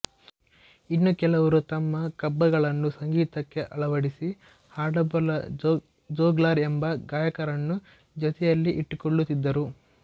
ಇನ್ನು ಕೆಲವರು ತಮ್ಮ ಕಬ್ಬಗಳನ್ನು ಸಂಗೀತಕ್ಕೆ ಅಳವಡಿಸಿ ಹಾಡಬಲ್ಲ ಜೋಗ್ಲಾರ್ ಎಂಬ ಗಾಯಕರನ್ನು ಜೊತೆಯಲ್ಲಿ ಇಟ್ಟುಕೊಳ್ಳುತ್ತಿದ್ದರು